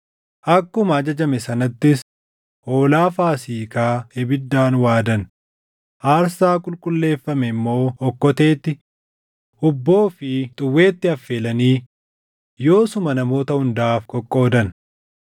Akkuma ajajame sanattis hoolaa Faasiikaa ibiddaan waadan; aarsaa qulqulleeffame immoo okkoteetti, hubboo fi xuwweetti affeelanii yoosuma namoota hundaaf qoqqoodan.